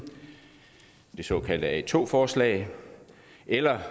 det såkaldte a2 forslag eller